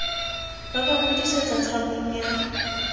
ba ba hodisetsa tshabong ya